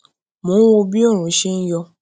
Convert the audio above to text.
mo ń wo bí oòrùn ṣe ń yọ